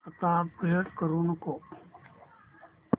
आता अपग्रेड करू नको